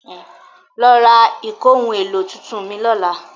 Lọ ra ìkóhun-èlò tuntun mìí lọ́la.